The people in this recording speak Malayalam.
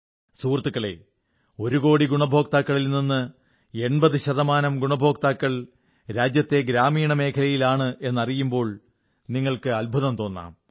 സുഹൃത്തുക്കളേ ഒരു കോടി ഗുണഭോക്താക്കളിൽ നിന്നും 80 ശതമാനം ഗുണഭോക്താക്കൾ രാജ്യത്തെ ഗ്രാമീണ മേഖലയിലാണെന്നറിയുമ്പോൾ നിങ്ങൾക്ക് അത്ഭുതം തോന്നാം